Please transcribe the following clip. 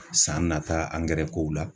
San nata angɛrɛkow la